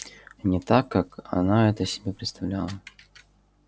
не так как она это себе представляла